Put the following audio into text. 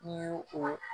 N'i y'o o